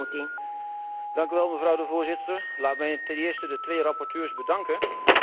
Mevrouw de Voorzitter, laat mij ten eerste de twee rapporteurs bedanken voor hun harde werk.